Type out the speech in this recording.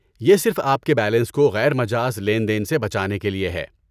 یہ صرف آپ کے بیلنس کو غیر مجاز لین دین سے بچانے کے لیے ہے۔